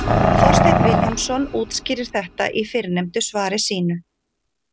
Þorsteinn Vilhjálmsson útskýrir þetta í fyrrnefndu svari sínu: